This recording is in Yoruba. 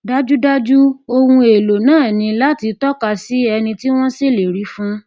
dájúdájú ohun èèlò náà ní láti tọka sí ẹni tí wọn ṣèlérí fún